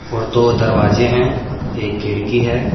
और दो दरवाजे हैं एक खिड़की है।